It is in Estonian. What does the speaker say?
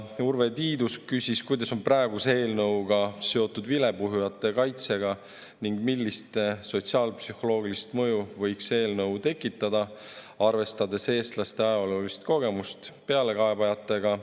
Urve Tiidus küsis, kuidas on praegune eelnõu seotud vilepuhujate kaitsega ning millist sotsiaalpsühholoogilist mõju võiks see eelnõu tekitada, arvestades eestlaste ajaloolist kogemust pealekaebajatega.